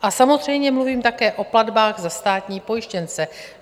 A samozřejmě mluvím také o platbách za státní pojištěnce.